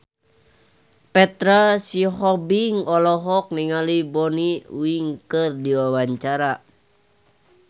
Petra Sihombing olohok ningali Bonnie Wright keur diwawancara